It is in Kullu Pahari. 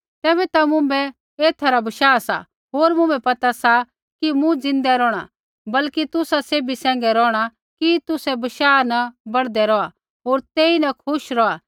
तेबैता ता मुँभै एथा रा बशाह सा होर मुँभै पता सा कि मूँ ज़िन्दै रौहणा बल्कि तुसा सैभी सैंघै रौहणा कि तुसै बशाह न बढ़दे रौहा होर तेईन खुश रौहा